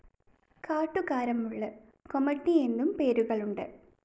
കാട്ടുകാരമുള്ള്, കൊമട്ടി എന്നും പേരുകളുണ്ട്.